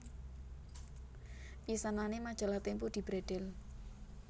Pisanané Majalah Tempo dibredhel